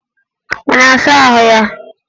Ọ na-asa ahụ ya?